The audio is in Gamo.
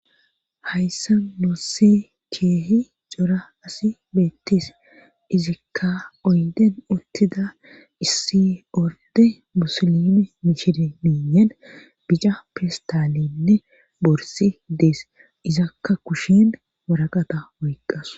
hayssa nusse keehi cora asi beettis izikka oyden uttida issi orde busilime mishirmiiyen bica pistaalenne borsi dees izakka kushen waraqata oyqqas